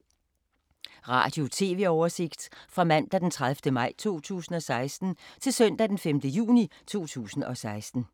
Radio/TV oversigt fra mandag d. 30. maj 2016 til søndag d. 5. juni 2016